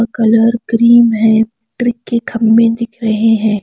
Colour cream है ट्रिक के खम्बे दिख रहे हैं।